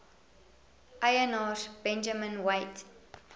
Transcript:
eienaars benjamin weigt